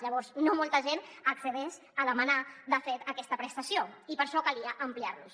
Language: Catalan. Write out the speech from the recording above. llavors no molta gent accedeix a demanar de fet aquesta prestació i per això calia ampliar los